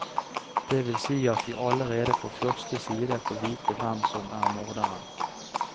Det vil si at vi allerede på første side får vite hvem som er morderen.